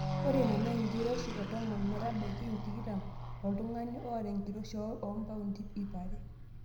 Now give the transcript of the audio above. Ore ina na enkiroshi e tomon metabaiki tikitam toltungani oota enkiroshi e paundi iip are.